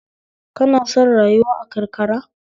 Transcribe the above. Ka na son rayuwa a karkara?